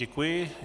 Děkuji.